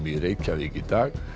í Reykjavík í dag